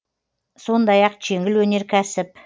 сондай ақ жеңіл өнеркәсіп